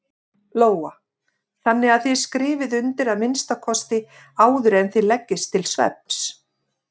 Lóa: Þannig að þið skrifið undir að minnsta kosti áður en þið leggist til svefns?